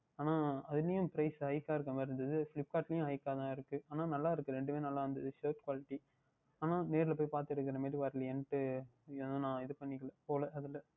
ஆனால் அது இனியும் Price hike இருந்த மாறி இருந்தது Flipkart ல உம் hike தான் இருக்கின்றது ஆனால் நன்றாக இருக்கின்றது இரண்டுமே நன்றாக இருந்தது Shirt quality ஆனால் நேரில் சென்று போய் பார்த்து எடுக்கின்ற மாறி வரவில்லை என்று நான் ஏன் ன இது பன்னிக்கவில்லை போகவில்லை நான் அதில்